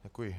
Děkuji.